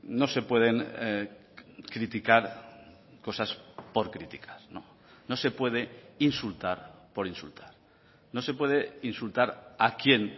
no se pueden criticar cosas por criticar no se puede insultar por insultar no se puede insultar a quien